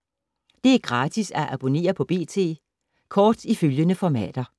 Det er gratis at abonnere på B.T. Kort i følgende formater: